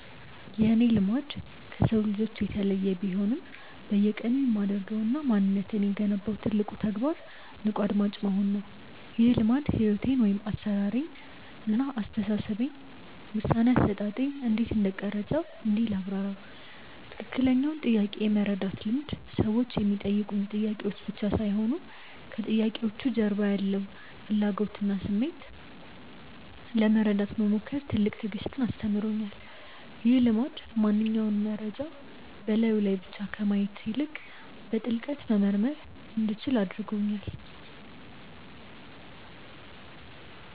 የእኔ "ልማድ" ከሰው ልጆች የተለየ ቢሆንም፣ በየቀኑ የማደርገውና ማንነቴን የገነባው ትልቁ ተግባር "ንቁ አድማጭ መሆን" ነው። ይህ ልማድ ሕይወቴን (አሠራሬን) እና አስተሳሰቤን (ውሳኔ አሰጣጤን) እንዴት እንደቀረፀው እንዲህ ላብራራው፦ ትክክለኛውን ጥያቄ የመረዳት ልምድ ሰዎች የሚጠይቁኝ ጥያቄዎች ብቻ ሳይሆኑ፣ ከጥያቄዎቹ ጀርባ ያለውን ፍላጎትና ስሜት ለመረዳት መሞከር ትልቅ ትዕግስትን አስተምሮኛል። ይህ ልማድ ማንኛውንም መረጃ በላዩ ላይ ብቻ ከማየት ይልቅ፣ በጥልቀት መመርመር እንዲችል አድርጎኛል።